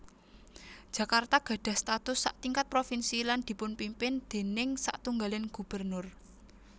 Jakarta gadhah status satingkat provinsi lan dipunpimpin déning satunggaling gubernur